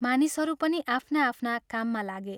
मानिसहरू पनि आफ्ना आफ्ना काममा लागे।